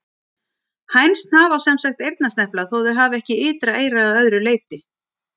Hænsn hafa sem sagt eyrnasnepla þótt þau hafi ekki ytra eyra að öðru leyti.